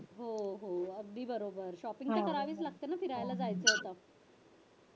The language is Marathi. हो हो अगदी बरोबर shopping हि करावीच लागते ना फिरायला जायच्या अगोदर